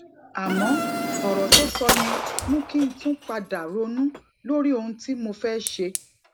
àmó òrò tó sọ yẹn mú kí n tún pa dà ronú lórí ohun tí mo fé ṣe